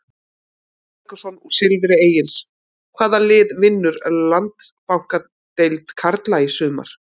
Egill Helgason úr Silfri Egils Hvaða lið vinnur Landsbankadeild karla í sumar?